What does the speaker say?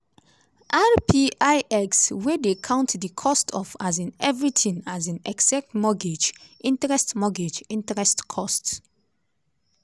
rpix wey dey count di cost of um everything um except mortgage interest mortgage interest costs.